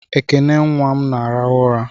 Ekene nnwa m na-arahụ ụra